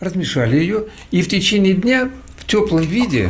размешали её и в течение дня в теплом виде